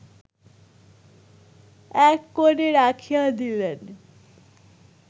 এককোণে রাখিয়া দিলেন